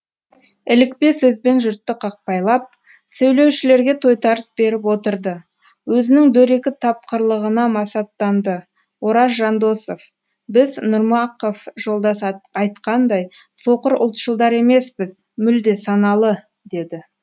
ілікпе сөзбен жұртты қақпайлап сөйлеушілерге тойтарыс беріп отырды өзінің дөрекі тапқырлығына масаттанды ораз жандосов біз нұрмақов жолдас айтқандай соқыр ұлтшылдар емеспіз мүлде саналы деді